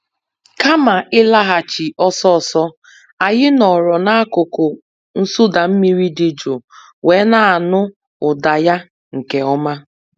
Kama ịlaghachi ọsọ ọsọ, anyị nọọrọ n'akụkụ nsụda mmiri dị jụụ wee na-anụ ụda ya nke ọma.